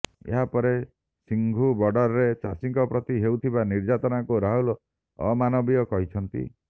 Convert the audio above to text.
ଏହା ପରେ ସିଂଘୁ ବର୍ଡରରେ ଚାଷୀଙ୍କ ପ୍ରତି ହେଉଥିବା ନିର୍ଯାତନାକୁ ରାହୁଲ ଅମାନବୀୟ କହିଛନ୍ତି